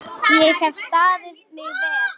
Ég hef staðið mig vel.